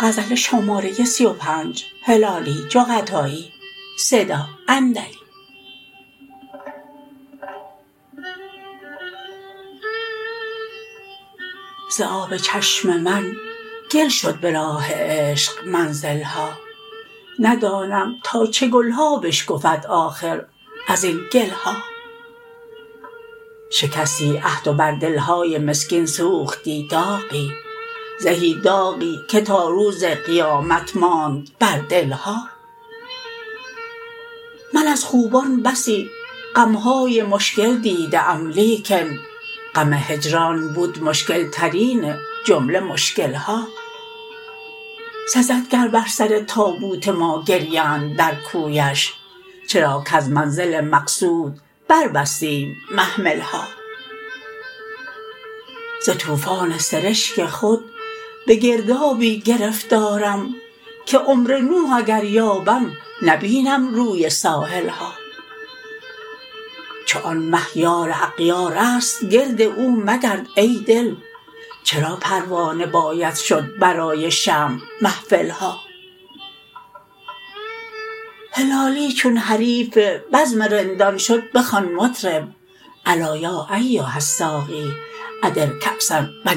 ز آب چشم من گل شد به راه عشق منزل ها ندانم تا چه گل ها بشکفد آخر ازین گل ها شکستی عهد و بر دل های مسکین سوختی داغی زهی داغی که تا روز قیامت ماند بر دل ها من از خوبان بسی غم های مشکل دیده ام لیکن غم هجران بود مشکل ترین جمله مشکل ها سزد گر بر سر تابوت ما گریند در کویش چرا کز منزل مقصود بربستیم محمل ها ز توفان سرشک خود به گردابی گرفتارم که عمر نوح اگر یابم نبینم روی ساحل ها چو آن مه یار اغیارست گرد او مگرد ای دل چرا پروانه باید شد برای شمع محفل ها هلالی چون حریف بزم رندان شد بخوان مطرب الا یا ایها الساقی ادر کاسا و